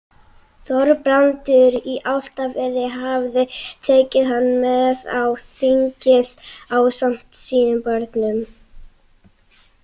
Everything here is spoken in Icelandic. Þorbrandur í Álftafirði hafði tekið hann með á þingið ásamt sínum börnum.